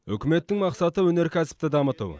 үкіметтің мақсаты өнеркәсіпті дамыту